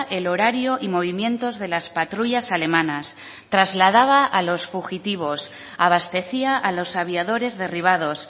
el horario y movimientos de las patrullas alemanas trasladaba a los fugitivos abastecía a los aviadores derribados